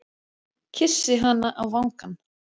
Kyssi hana á vangann.